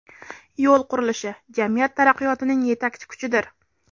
Yo‘l qurilishi – jamiyat taraqqiyotining yetakchi kuchidir.